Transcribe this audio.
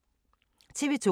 TV 2